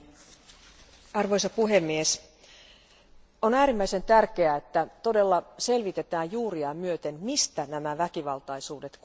Arvoisa puhemies, on äärimmäisen tärkeää, että todella selvitetään juuriaan myöten, mistä nämä väkivaltaisuudet kumpuavat.